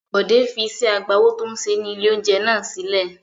Bọ̀dé fi iṣẹ́ agbáwo tó ń ṣe ní ilé-oúnjẹ náà sílẹ̀.